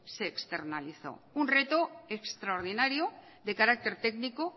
de externalizó un reto extraordinario de carácter técnico